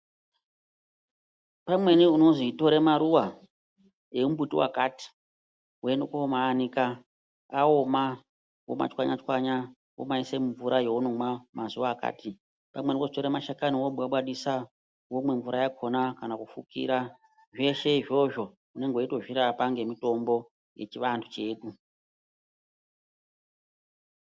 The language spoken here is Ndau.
Pamweni inozwi tore mafuwa emumbuti wakati, woende koomaanika, aoma womachwanya-chwanya womaise mumvura yeunomwa mazuwa akati. Pamweni wozwi tora mashakanyi wobwabwadisa womwa mvura yakhona kana kufukira. Zveshe izvozvo unenge weito zvirapa ngemitombo yechianthu chedu.